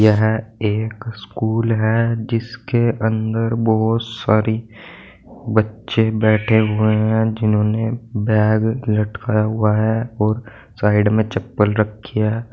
यह एक स्कूल है जिसके अंदर बोहोत सारी बच्चे बैठे हुए हैं जिन्होंने बैग लटकाया हुआ है और साइड में चप्पल रखी है।